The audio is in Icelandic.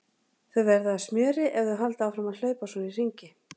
Þau verða að smjöri ef þau halda áfram að hlaupa svona í hringi.